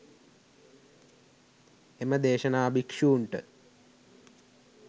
එම දේශනා භික්‍ෂූන්ට